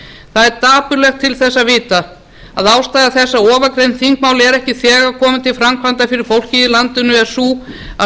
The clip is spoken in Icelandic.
það er dapurlegt til þess að vita að ástæða þess að ofangreind þingmál eru ekki þegar komin til framkvæmda fyrir fólkið í landinu er sú að